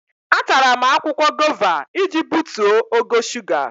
Atara m akwụkwọ gova iji butuo ogo shuga.